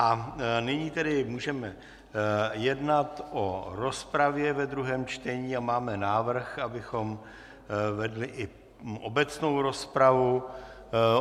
A nyní tedy můžeme jednat o rozpravě ve druhém čtení a máme návrh, abychom vedli i obecnou rozpravu.